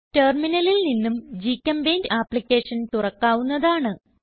ടെർമിനലിൽ നിന്നും GChemPaint application തുറക്കാവുന്നതാണ്